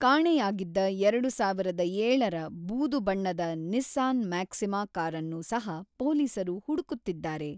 ಕಾಣೆಯಾಗಿದ್ದ ಎರಡು ಸಾವಿರದ ಏಳರ ಬೂದು ಬಣ್ಣದ ನಿಸ್ಸಾನ್ ಮ್ಯಾಕ್ಸಿಮಾ ಕಾರನ್ನು ಸಹ ಪೊಲೀಸರು ಹುಡುಕುತ್ತಿದ್ದಾರೆ .